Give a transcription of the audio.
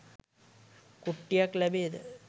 කුට්ටියක් ලැබේද